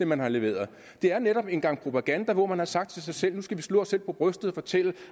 man har leveret det er netop en gang propaganda hvor man har sagt til sig selv nu skal vi slå os selv på brystet og fortælle